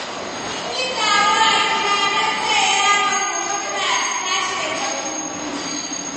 Mun yi taro a gida don taya yaronmu murnar cika shekaru biyu.